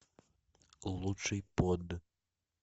лучший под